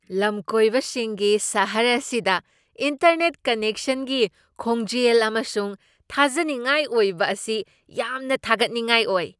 ꯂꯝꯀꯣꯏꯕꯁꯤꯡꯒꯤ ꯁꯍꯔ ꯑꯁꯤꯗ ꯏꯟꯇꯔꯅꯦꯠ ꯀꯅꯦꯛꯁꯟꯒꯤ ꯈꯣꯡꯖꯦꯜ ꯑꯃꯁꯨꯡ ꯊꯥꯖꯅꯤꯡꯉꯥꯏ ꯑꯣꯏꯕ ꯑꯁꯤ ꯌꯥꯝꯅ ꯊꯥꯒꯠꯅꯤꯡꯉꯥꯏ ꯑꯣꯏ ꯫